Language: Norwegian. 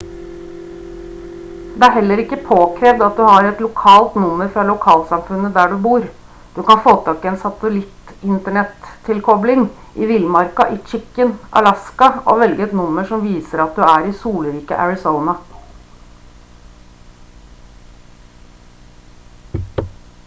det er heller ikke påkrevd at du har et lokalt nummer fra lokalsamfunnet der du bor du kan få tak i en satellitt-internettilkobling i villmarka i chicken alaska og velge et nummer som viser at du er i solrike arizona